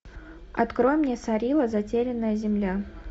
открой мне сарила затерянная земля